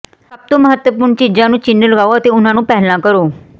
ਸਭ ਤੋਂ ਮਹੱਤਵਪੂਰਣ ਚੀਜ਼ਾਂ ਨੂੰ ਚਿੰਨ੍ਹ ਲਗਾਓ ਅਤੇ ਉਹਨਾਂ ਨੂੰ ਪਹਿਲਾ ਕਰੋ